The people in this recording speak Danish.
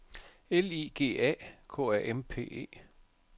L I G A K A M P E